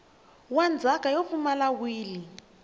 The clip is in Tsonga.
wa ndzhaka yo pfumala wili